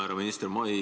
Härra minister!